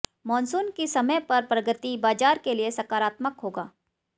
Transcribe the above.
monsoon की समय पर प्रगति बाजार के लिए सकारात्मक होगा